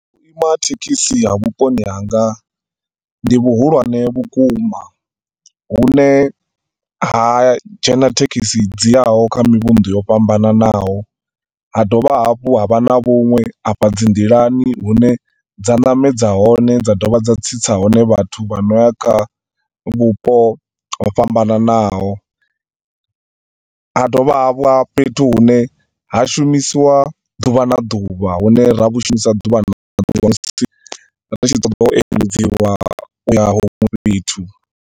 Vhuima ha thekhisi ha vhuponi hanga ndi vhu hulwane vhukuma, hu ne ha dzhena thekhisi dziyaho kha mivhundu yo fhambananaho, ha dovha hafhu ha vha na vhunwe afha dzindilani hune dza namedza hone, dza dovha dza tsitsa hone vhathu vha noya kha vhupo ho fhambananaho . Ha dovha ha vha fhethu hune ha shumisiwa ḓuvha na ḓuvha, hune ra hu shumisa ḓuvha na ḓuvha .